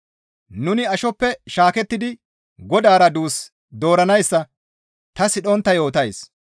Nuni ashoppe shaakettidi Godaara duus dooranayssa ta sidhontta yootays.